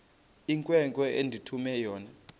inkwenkwe endithume yona